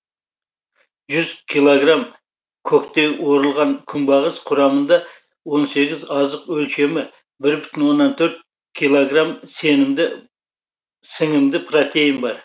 жүз килограмм көктей орылған күнбағыс құрамында он сегіз азық өлшемі бір бүтін оннан төрт килограмм сіңімді протеин бар